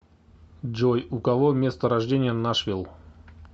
джой у кого место рождения нашвилл